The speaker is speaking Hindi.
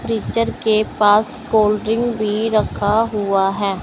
फ्रिजर के पास कोलड्रिंक भी रखा हुआ हैं।